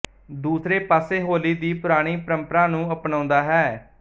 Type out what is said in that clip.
ਦੂਸਰੇ ਪਾਸੇ ਹੋਲੀ ਦੀ ਪੁਰਾਣੀ ਪਰੰਪਰਾ ਨੂੰ ਅਪਣਾਉਂਦਾ ਹੈ